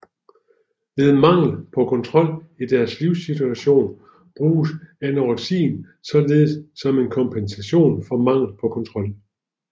Ved mangel på kontrol i deres livssituation bruges anoreksien således som kompensation for mangel på kontrol